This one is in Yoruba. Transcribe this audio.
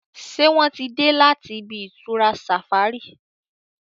ṣe wón tí dé láti ibi-itura safari?